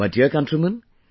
My dear countrymen,